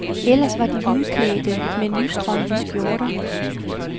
Ellers var de hvidklædte, med nystrøgne skjorter.